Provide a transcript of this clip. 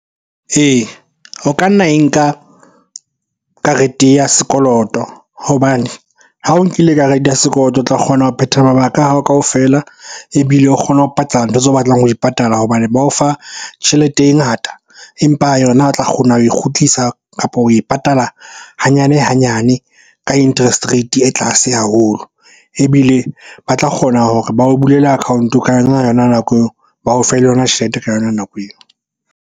Ee, o ka nna e nka karete ya sekoloto hobane ha o nkile karete ya sekoloto, o tla kgona ho phetha mabaka a hao kaofela. Ebile o kgone ho patala ntho tseo o batlang ho di patala hobane ba o fa tjhelete e ngata, empa yona a tla kgona ho e kgutlisa, kapo ho e patala hanyane-hanyane ka interest rate e tlase haholo. Ebile ba tla kgona hore ba o bulele account-o ka yona-yona nako eo, ba o fe le yona tjhelete ka yona nako eo.